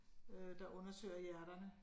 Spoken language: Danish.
Øh der undersøger hjerterne